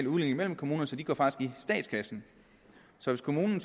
udligning mellem kommunerne så de går faktisk i statskassen så hvis kommunen